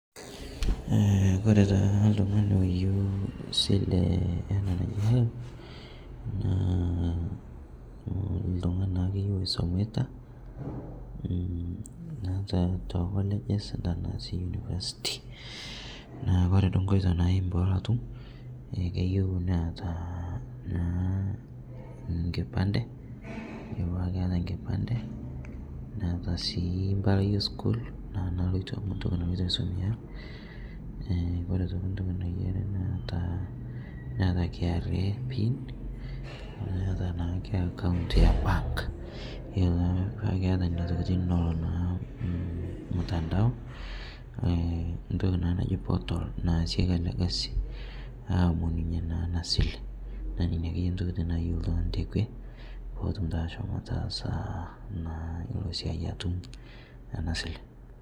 Kore taa ltung'ani oyeu silee ena naji helb, naa ltung'ani naakeye loisomitaa naa ta te colleges, tanaa sii university, naa kore duo nkoitoo naimin peelo atum keyeu neataa naa nkipande, keyaa petaa nkipande neata sii mpalai esukuul naa naloito ntoki naloitoo aisomea kore otokii ntoki nayarii naata, naata kra pin neata naa otoki ake account e bank iyolo taa peaku keata nenia tokitin neloo naa mtandao, ntoki naa naji portal naasieki alee kazi aomoninye naa ana sile naa ninye akeye ntokitin nayeu ltung'ani tekwe pootum taa ashomo ataasa naa ilo siai atum ana silee.